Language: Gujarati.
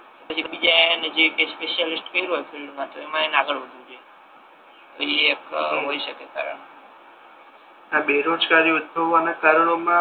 પછી બીજા એને જે કઈ સ્પેશિયાલિસ્ટ કર્યુ હોય ફિલ્ડ મા તો એમા એને આગળ વધવુ જોઈએ તો એ એક કામ હોય શકે